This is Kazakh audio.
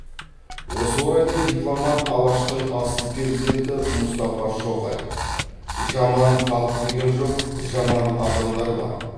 осы орайда дипломат алаштың асыл перзенті мұстафа шоқай жаман халық деген жоқ жаман адамдар бар